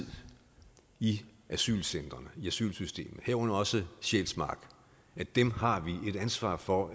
i asylcentrene i asylsystemet herunder også sjælsmark har vi et ansvar for